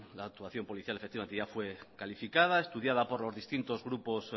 la actuación policial efectivamente ya fue calificada estudiada por los distintos grupos